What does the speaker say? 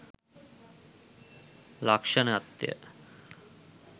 ලක්‍ෂණත්ය.